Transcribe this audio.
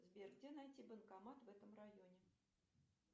сбер где найти банкомат в этом районе